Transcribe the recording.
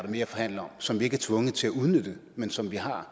mere at forhandle om som vi ikke er tvunget til at udnytte men som vi har